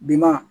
Bi ma